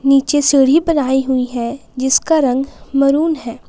नीचे सीढ़ी बनाई हुई है जिसका रंग मरून है।